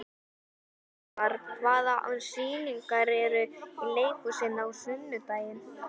Valdimar, hvaða sýningar eru í leikhúsinu á sunnudaginn?